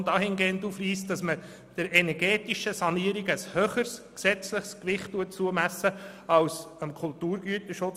Aus unserer Sicht muss der energetischen Sanierung ein höheres gesetzliches Gewicht zukommen als dem Kulturgüterschutz.